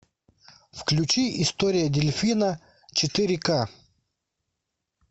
включи история дельфина четыре к